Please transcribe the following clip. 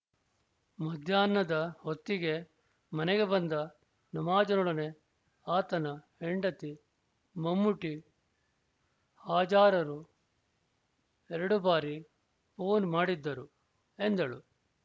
ಮಧ್ಯಾಹ್ನದ ಹೊತ್ತಿಗೆ ಮನೆಗೆ ಬಂದ ನವಾಜನೊಡನೆ ಆತನ ಹೆಂಡತಿ ಮಮ್ಮೂಟಿ ಹಾಜಾರರು ಎರಡು ಬಾರಿ ಫೋನ್ ಮಾಡಿದ್ದರು ಎಂದಳು